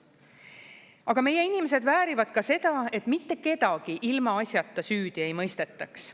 Aga meie inimesed väärivad ka seda, et mitte kedagi ilmaasjata süüdi ei mõistetaks.